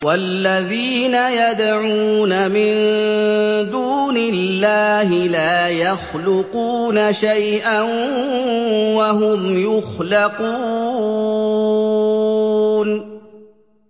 وَالَّذِينَ يَدْعُونَ مِن دُونِ اللَّهِ لَا يَخْلُقُونَ شَيْئًا وَهُمْ يُخْلَقُونَ